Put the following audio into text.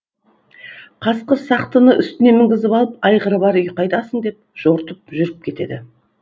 қасқыр сақтыны үстіне мінгізіп алып айғыры бар үй қайдасың деп жортып жүріп кетеді